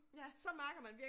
Ja